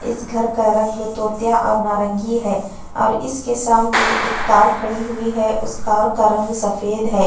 इस घर का रंग तोतिया और नारंगी है और इसके सामने एक कार खड़ी हुई है। उस कार का रंग सफेद है।